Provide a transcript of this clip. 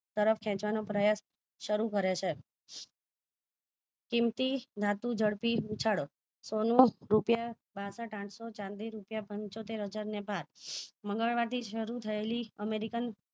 તરફ ખેચવાનો પ્રયાસ શરુ કરે છે કિમંતી ધાતુ ઝડપી ઉછાળો સોનું રૂપિયા બાસઠ આઠસો ચાંદી રૂપિયા પંચોતેર હજાર ને પાર મંગલવાર થી શરુ થયેલી અમેરીકન